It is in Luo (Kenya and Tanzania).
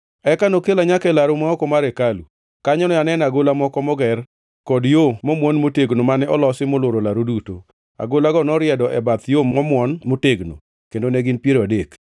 Eka nokela nyaka e laru ma oko mar hekalu. Kanyo ne aneno agola moko moger, kod yo momwon motegno mane olosi molworo laru duto. Agolago noriedo e bath yo momwon motegnono, kendo ne gin piero adek.